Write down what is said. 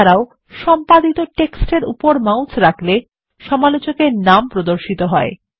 এছাড়াও সম্পাদিত টেক্সট এর উপরে মাউস রাখলে সমালোচক এর নাম প্রদর্শিত হয়